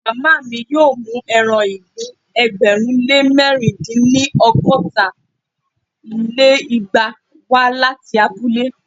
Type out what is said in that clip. màmá mi yóò mú eran ìgbín ẹgbẹ̀rún lé mẹ̀rin dín ní- ọgọ́ta lé igba wá láti abúlé.